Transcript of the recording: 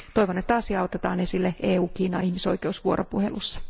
Toivon, että asia otetaan esille EU Kiina ihmisoikeusvuoropuhelussa.